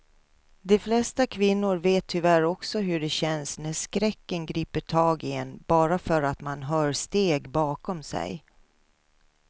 De flesta kvinnor vet tyvärr också hur det känns när skräcken griper tag i en bara för att man hör steg bakom sig.